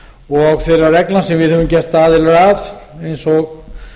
og þeirra reglna sem við höfum gerst aðilar að eins og